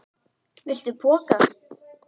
Viltu poka?